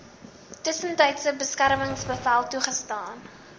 tussentydse beskermingsbevel toegestaan